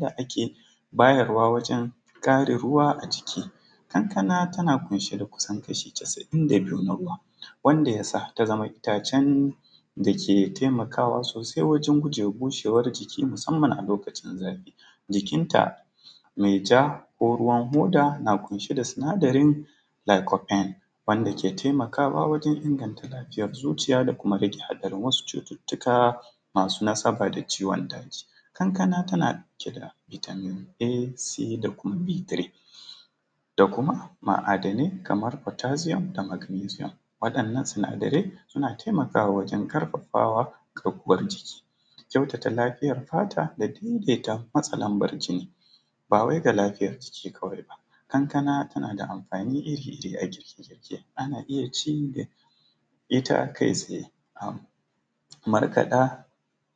da ake bayarwa wajen ƙarin ruwa a jiki. Kankana tan ƙunshe da kusan kashi casa’in da biyu na ruwa, wanda yasa ta zama itacen da ke taimakawa sosai wajen gujewa bushewar jiki musamman a lokacin zafi. Jikinta mai ja, ko ruwan hoda na ƙunshe da sinadarin laiko fain wanda ke taimakawa wajen inganta lafiyar zuciya da rage haɗarin wasu cututtuka masu nasaba da ciwon daji. Kankana tana ɗauke da bitamin a ,c da kuma b3, da kuma ma’adanai kaman fatasiyom da magnizium, waɗannan sinadarai suna taimakawa wajen ƙarfafa garkuwan jiki. Kyautata lafiyar fata da daidaita matsalar bar jini, ba wai ga lafiyar jiki kawai ba kankana tana da amfani iri ga girke-girke, ana iya cinta ita kai tsaye a markaɗa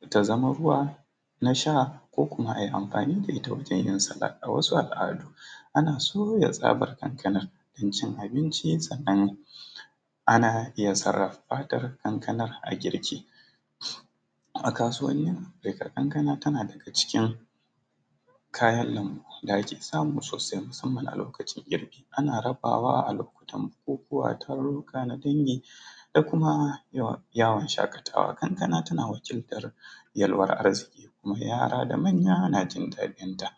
ta zama ruwa na sha ko kuma ai amfani da ita wajen yin salat. A wasu al’adu, ana soya tsabar kankanan don cin abinci, sannan ana iya sarrafa fatar kankanan a girki. A kasuwanin, kankana tana daga cikin kayan lambu da ake samu sosai na musamman a lokacin girbi, ana rabawa a lokotan bukukuwa taruruka na dangi da kuma yawan shaƙatawa. Kankana tana wakiltar yalwar arziki kuma yara da manya najin daɗinta.